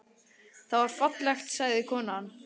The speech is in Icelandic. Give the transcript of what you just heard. Það var fallegt, sagði konan.